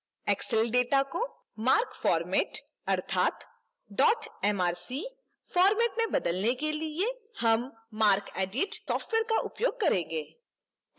excel data को marc format अर्थात dot mrc format में बदलने के लिए हम marcedit software का उपयोग करेंगे